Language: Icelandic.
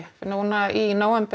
núna í nóvember